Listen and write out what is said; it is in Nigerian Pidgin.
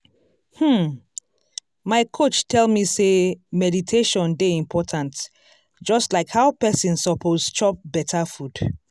hmm my coach tell me sey meditation dey important just like how person suppose chop beta food.